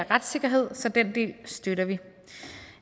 retssikkerhed så den del støtter vi